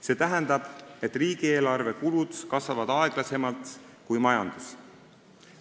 See tähendab, et riigieelarve kulud kasvavad aeglasemalt kui majandus.